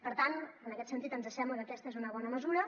per tant en aquest sentit ens sembla que aquesta és una bona mesura